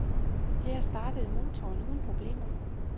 Han startede motoren uden problemer.